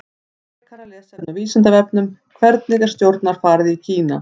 Frekara lesefni á Vísindavefnum: Hvernig er stjórnarfarið í Kína?